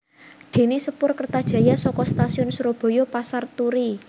Déné sepur Kertajaya saka Stasiun Surabaya Pasar Turi No